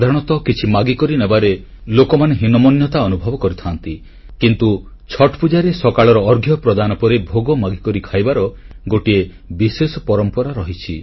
ସାଧାରଣତଃ କିଛି ମାଗିକରି ନେବାରେ ଲୋକମାନେ ହୀନମାନ୍ୟତା ଅନୁଭବ କରିଥାନ୍ତି କିନ୍ତୁ ଛଠ୍ ପୂଜାରେ ସକାଳର ଅର୍ଘ୍ୟ ପ୍ରଦାନ ପରେ ଭୋଗ ମାଗିକରି ଖାଇବାର ଗୋଟିଏ ବିଶେଷ ପରମ୍ପରା ରହିଛି